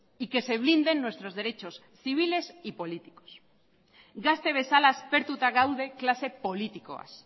y que se blinden nuestros derechos civiles y políticos gazte bezala aspertuta gaude klase politikoaz